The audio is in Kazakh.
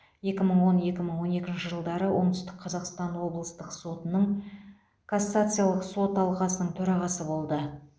екі мың он екі мың он екінші жылдары оңтүстік қазақстан облыстық сотының кассациялық сот алқасының төрағасы болды